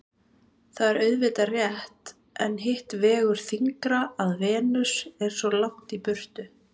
Það er auðvitað rétt en hitt vegur þyngra að Venus er svo langt í burtu.